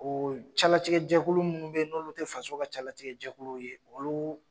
O calatigɛ jɛkulu minnu be ye n'olu te faso ka calatigɛ jɛkulu ye olu